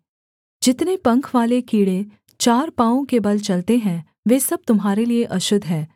जितने पंखवाले कीड़े चार पाँवों के बल चलते हैं वे सब तुम्हारे लिये अशुद्ध हैं